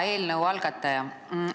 Hea eelnõu algataja!